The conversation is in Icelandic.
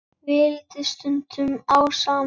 Virðist standa á sama.